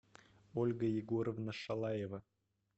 ольга егоровна шалаева